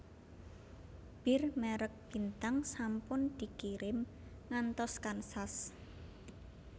Bir merk Bintang sampun dikirim ngantos Kansas